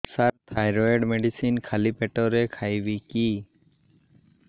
ସାର thyroid medicine ଖାଲି ପେଟରେ ଖାଇବି କି